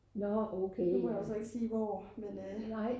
nu må jeg jo så ikke sige hvor men